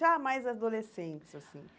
Já mais adolescentes, assim.